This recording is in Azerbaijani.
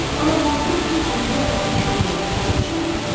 Amma qorxur ki, cinlər onun fikirlərini başa düşərlər.